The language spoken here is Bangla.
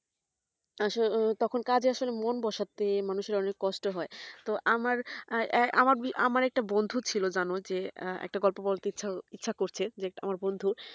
আসলে তখন কাজে আসলে মন বসাতে মানুষের অনেক কষ্ট হয় তো আমার একটা বন্ধু ছিল যেন যে একটা গল্প বলতে ইচ্ছে করছে যে আমার বন্ধু